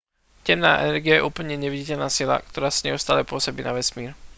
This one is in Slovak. temná energia je úplne neviditeľná sila ktorá neustále pôsobí na vesmír